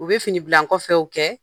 U bɛ fini bla nkɔfɛw kɛ!